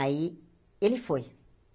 Aí, ele foi.